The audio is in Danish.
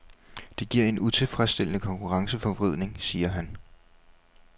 Det giver en utilfredsstillende konkurrenceforvridning, siger han.